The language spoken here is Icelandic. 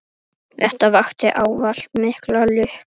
Þetta vakti ávallt mikla lukku.